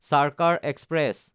Sarkar express